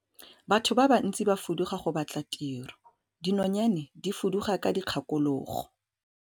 Batho ba bantsi ba fuduga go batla tiro, dinonyane di fuduga ka dikgakologo.